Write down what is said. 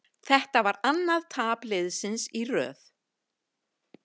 Þetta var annað tap liðsins í röð.